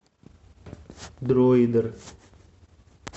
дроидер